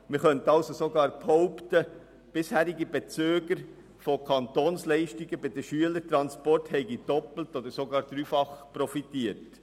Man könnte also sogar behaupten, bisherige Bezüger von Kantonsleistungen bei den Schülertransporten hätten doppelt oder sogar dreifach profitiert.